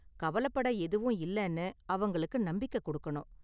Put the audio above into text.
கவலப்பட எதுவும் இல்லைன்னு அவங்களுக்கு நம்பிக்க கொடுக்கணும்.